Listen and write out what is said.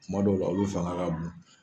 Kuma dɔw la olu fanga ka bon.